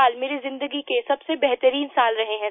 साल मेरी ज़िंदगी के सबसे बेहतरीन साल रहे हैं